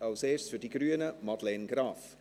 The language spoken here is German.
Als erstes für die Grünen, Madeleine Graf.